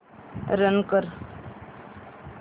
run कर